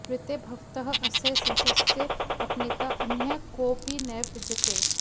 ऋते भवतः अस्य संशयस्य अपनेता अन्यः कोऽपि नैव विद्यते